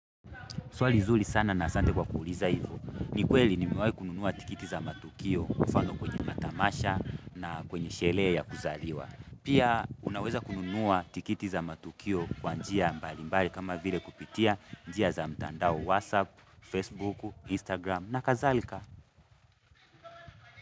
Swali zuri sana na asante kwa kuuliza hivyo. Nikweli nimewahi kununua tikiti za matukio mfano kwenye matamasha na kwenye sherehe ya kuzaliwa. Pia unaweza kununua tikiti za matukio kwa njia mbalimbali kama vile kupitia njia za mtandao WhatsApp, Facebook, Instagram na kadhalika.